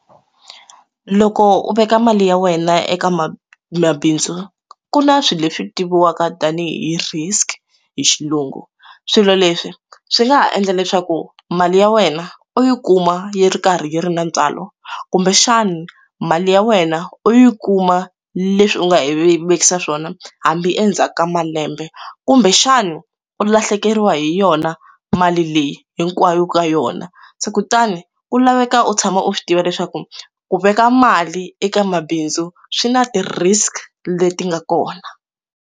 Loko u veka mali ya wena eka ma mabindzu ku na swilo leswi tiviwaka tanihi risk hi xilungu swilo leswi swi nga ha endla leswaku mali ya wena u yi kuma yi ri karhi yi ri na ntswalo kumbexana mali ya wena u yi kuma leswi u nga yi ve vekisa swona hambi endzhaku ka malembe kumbexana u lahlekeriwa hi yona mali leyi hinkwayo ka yona se kutani u laveka u tshama u swi tiva leswaku ku veka mali eka mabindzu swi na ti risk leti nga kona.